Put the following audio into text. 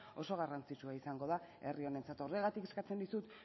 oso garrantzitsua izango da herri honentzat horregatik eskatzen dizut